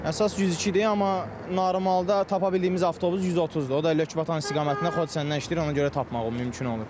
Əsas 102-dir, amma normalda tapa bildiyimiz avtobus 130-dur, o da Lökbatan istiqamətində Xocəsəndən işləyir, ona görə tapmaq mümkün olur.